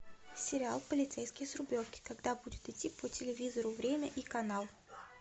сериал полицейский с рублевки когда будет идти по телевизору время и канал